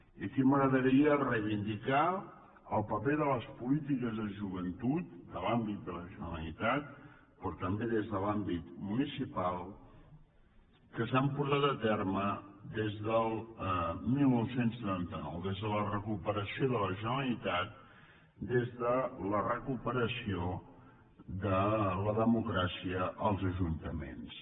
i aquí m’agradaria reivindicar el paper de les polítiques de joventut de l’àmbit de la generalitat però també des de l’àmbit municipal que s’han portat a terme des del dinou setanta nou des de la recuperació de la generalitat des de la recuperació de la democràcia als ajuntaments